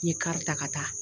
N ye kari ta ka taa